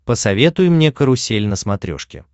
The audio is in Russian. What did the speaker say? посоветуй мне карусель на смотрешке